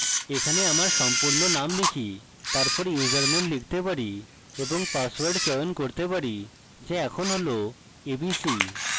এখানে আমার সম্পূর্ণ name type তারপর username লিখতে পারি এবং পাসওয়ার্ড চয়ন করতে পারি so এখন হল abc